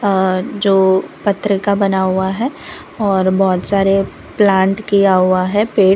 यहां जो पत्र का बना हुआ है और बहोत सारे प्लांट किया हुआ है पेड़--